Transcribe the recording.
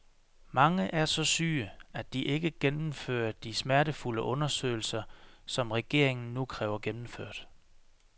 Mange er så syge, at de ikke kan gennemføre de smertefulde undersøgelser, som regeringen nu kræver gennemført.